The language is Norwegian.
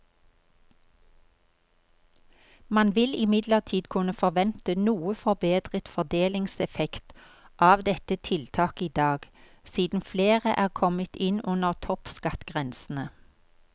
Man vil imidlertid kunne forvente noe forbedret fordelingseffekt av dette tiltaket i dag, siden flere er kommet inn under toppskattgrensene.